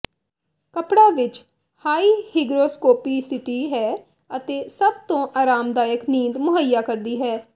ਕੱਪੜਾ ਵਿੱਚ high hygroscopicity ਹੈ ਅਤੇ ਸਭ ਤੋਂ ਅਰਾਮਦਾਇਕ ਨੀਂਦ ਮੁਹਈਆ ਕਰਦੀ ਹੈ